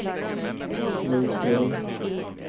Lundsbrunn